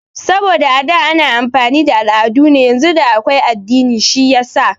Saboda a da ana amfani da al'adu ne yanzu da akwai addini shiyasa